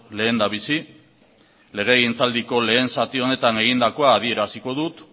lehendabizi legegintzaldiko lehen zati honetan egindakoa adieraziko dut